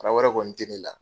wɛrɛ kɔni tɛ ne la.